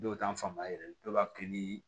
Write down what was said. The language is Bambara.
Dɔw t'an faamu yɛrɛ dɔw b'a kɛ ni